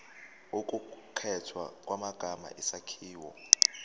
ukukhethwa kwamagama isakhiwo